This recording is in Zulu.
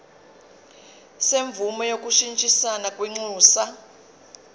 semvume yokushintshisana kwinxusa